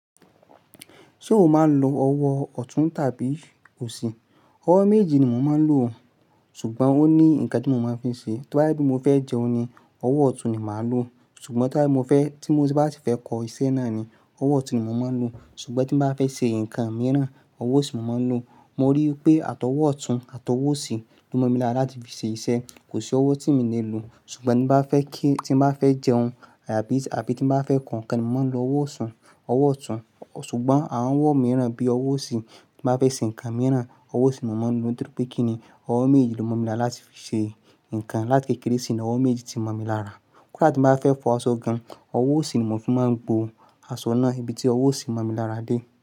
Ṣé o máa ń lo ọwọ́ ọ̀tún tàbí òsì? Ọwọ́ méjì ni mo máa ń lò, ṣùgbọ́n ó ní nǹkan tí mo máa fi ṣe. Tío bá je pe mo fẹ́ jẹun ni, ọwọ́ ọ̀tún ni màá lò. Ṣùgbọ́n tí mo bá tí fẹ́ kọ iṣẹ́ náà ni, ọwọ́ ọ̀tún ni mò máa ń lò. Ṣùgbọ́n tí bá fẹ́ ṣe nǹkan mìíràn, ọwọ́ òsì ni mò máa ń lò. Mo rí i pé àtọwọ́ ọ̀tún àtọwọ́ òsì ló mọ̀ mi lára láti fi ṣe iṣẹ́. Kò sí ọwọ́ tí mi lè lo. Ṣùgbọ́n tí mo bá fẹ́ kí, tí mo bá fẹ́ jẹun àbí tí mo bá fẹ́ kọ ǹkan ni, mò máa ń lo ọwọ́ ọ̀tún, ọwọ́ ọ̀tún. Ṣùgbọ́n àwọn ọwọ́ mìíràn bí ọwọ́ òsì, tí mo bá fẹ́ ṣe ǹkan mìíràn, ọwọ́ òsì ni mò máa ń lò nítorí pé kí ni, ọwọ́ mejeejì ló mọ̀ mi lára láti fi ṣe ǹkan. Láti kékeré sí ni ọwọ́ mejeejì ti mọ̀ mi lára. Koda ti n bá fẹ́ fọ aṣọ gan, ọwọ́ òsì ni mò fi máa ń gbó aṣọ náà ibi tí ọwọ́ òsì mọ̀ mi lára dé.